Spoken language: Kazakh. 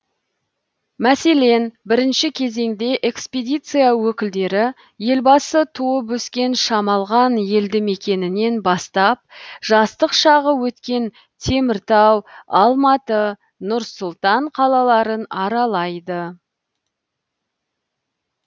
мәселен бірінші кезеңде экспедиция өкілдері елбасы туып өскен шамалған елді мекенінен бастап жастық шағы өткен теміртау алматы нұр сұлтан қалаларын аралайды